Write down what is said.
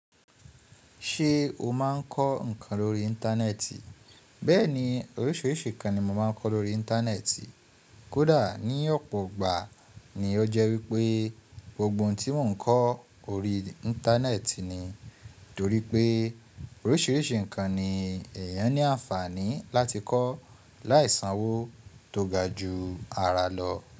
Ṣe o máa ń kọ́ ǹkan lórí Íńtánẹ́ẹ̀tì? Bẹ́ẹ̀ni, oríṣìíríṣìí ǹkan ni mo máa ń kọ́ lórí Íńtánẹ́ẹ̀tì, kódà ní ọ̀pọ̀ gbà ní ó jẹ́ wípé gbogbo ohun tí mò ń kọ́ orí Íńtánẹ́ẹ̀tì ni. Torí pé oríṣìíríṣìí ǹkan ni èèyàn ní àǹfààní láti kọ́ láì sanwó tó ga ju ara lọ.